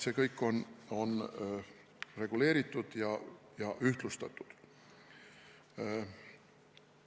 Kõik see on reguleeritud ja ühtlustatud.